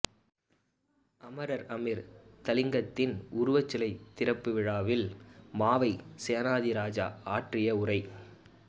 அமரர் அமிர்தலிங்கத்தின் உருவச்சிலை திறப்பு விழாவில் மாவை சேனாதிராஜா ஆற்றிய உரை